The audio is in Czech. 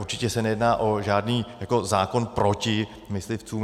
Určitě se nejedná o žádný zákon proti myslivcům.